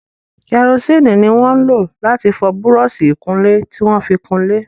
Karosíìnì ni wọn ń lò láti fọ búrọ́ọ̀sì ìkunlé tí wọ́n fi kunlé.